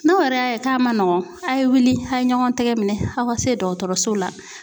N'aw yɛrɛ y'a ye k'a man nɔgɔn a' ye wuli a' ye ɲɔgɔn tɛgɛ minɛn aw ka se dɔgɔtɔrɔso la.